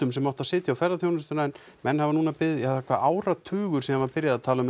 sem átti að setja á ferðaþjónustuna en menn hafa núna beðið ja það hvað áratugur síðan var byrjað að tala um